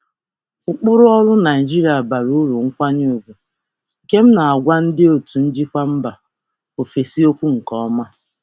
Ụkpụrụ ọrụ Naịjirịa na-eji nkwanye ùgwù kpọrọ ihe, nke m na-ekwupụta nke ọma nye ndị otu njikwa si mba ọzọ.